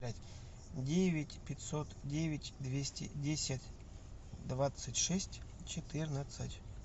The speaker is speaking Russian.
девять пятьсот девять двести десять двадцать шесть четырнадцать